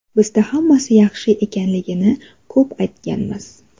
Bizda hammasi yaxshi ekanligini ko‘p aytganmiz.